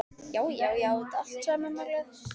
Já, já, ég á þetta allt, sagði mamma glöð.